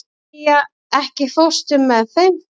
Egedía, ekki fórstu með þeim?